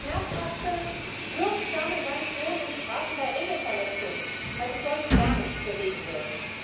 Und wir brauchen schmerzhafte, wirksame Sanktionen und Strafen bei Regelverletzungen, weil sich sonst gar nichts bewegen wird.